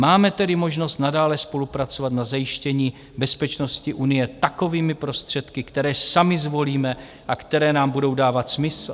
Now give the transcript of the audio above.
Máme tedy možnost nadále spolupracovat na zajištění bezpečnosti Unie takovými prostředky, které sami zvolíme a které nám budou dávat smysl.